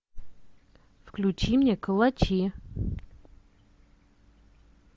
включи мне калачи